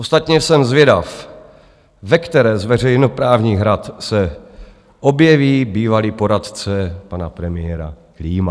Ostatně jsem zvědav, ve které z veřejnoprávních rad se objeví bývalý poradce pana premiéra Klíma.